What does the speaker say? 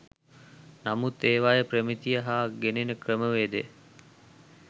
නමුත් ඒවායේ ප්‍රමිතිය හා ගෙනෙන ක්‍රමවේදය